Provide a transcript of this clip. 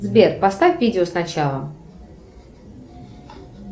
сбер поставь видео сначала